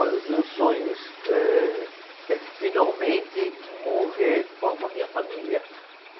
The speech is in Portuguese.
Olha, os meus sonhos ehh, é finalmente morrer com a, com a minha família.